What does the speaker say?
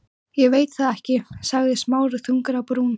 Ég veit það ekki- sagði Smári þungur á brún.